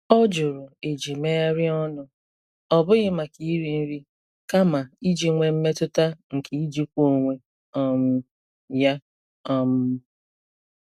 Ọ jụrụ eji megharịa ọnụ, ọ bụghị maka iri nri, kama iji nwee mmetụta nke ijikwa onwe um ya. um